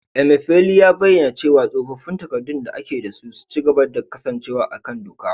Emefiele ya bayyana cewa tsofaffin takardun da ake da su za su ci gaba da kasancewa a kan doka